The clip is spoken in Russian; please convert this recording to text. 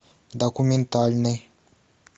документальный